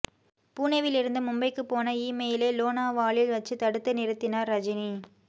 புனேவிலிருந்து மும்பைக்குப் போன இமெயிலை லோனாவாலில் வச்சு தடுத்து நிறுத்தினார் ரஜினி